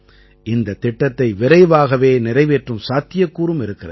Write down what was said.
இந்தத் திட்டத்தை விரைவாகவே நிறைவேற்றும் சாத்தியக்கூறும் இருக்கிறது